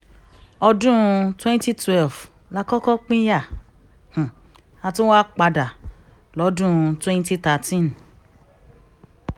ọdún twenty twelve la kọ́kọ́ pínyà a tún wáá padà lọ́dún twenty thirteen